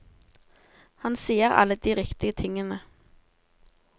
Han sier alle de riktige tingene.